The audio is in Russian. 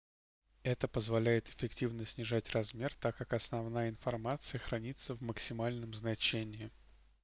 это позволяет эффективно снижать размер так как основная информация хранится в максимальном значении